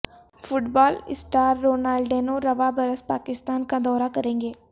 fit بال star Ronaldinho رواں برس پاکستان کا دورہ کرینگے